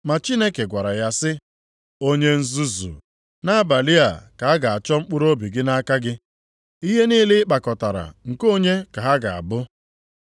“Ma Chineke gwara ya sị, ‘Onye nzuzu, nʼabalị a ka a ga-achọ mkpụrụobi gị nʼaka gị. Ihe niile ị kpakọtara nke onye ka ha ga-abụ?’